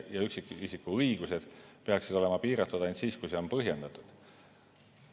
Ja üksikisiku õigused peaksid olema piiratud ainult siis, kui see on põhjendatud.